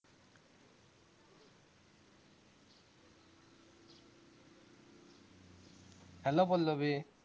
hello Pallavi